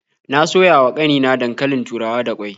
Na soya wa ƙanina dankalin turawa da ƙwai.